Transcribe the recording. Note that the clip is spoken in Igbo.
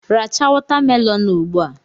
Racha watamelonụ a ugbua!